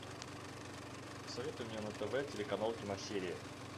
посоветуй мне на тв телеканал киносерия